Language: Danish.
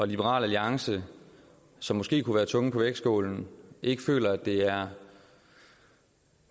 liberal alliance som måske kunne være tungen på vægtskålen ikke føler at det